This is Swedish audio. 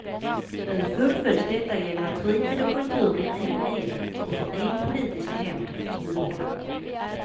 Nu fullföljs detta genom att fritid och kultur blir en enhet och får en politisk nämnd som huvudman.